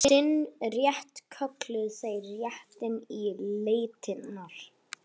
Sinn rétt kölluðu þeir réttinn til letinnar.